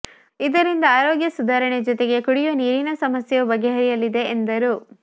ಇದರಿಂದ ಆರೋಗ್ಯ ಸುಧಾರಣೆಯ ಜೊತೆಗೆ ಕುಡಿಯುವ ನೀರಿನ ಸಮಸ್ಯೆಯೂ ಬಗೆಹರಿಲಿದೆ ಎಂದರು